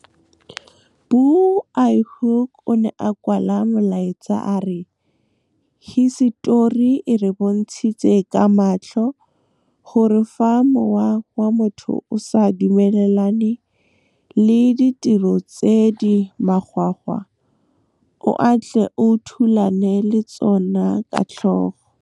Bu lhoek o ne a kwala molaetsa a re, Hisetori e re bontshitse ka matlho gore fa mowa wa motho o sa dumelane le ditiro tse di makgwakgwa o a tle o thulane le tsona ka tlhogo. Bu lhoek o ne a kwala molaetsa a re, Hisetori e re bontshitse ka matlho gore fa mowa wa motho o sa dumelane le ditiro tse di makgwakgwa o a tle o thulane le tsona ka tlhogo.